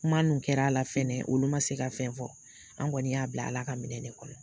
Kuma nun kɛra a la fɛnɛ olu ma se ka fɛn fɔ, anw kɔnni y'a bila Ala ka minɛ de kɔnɔ.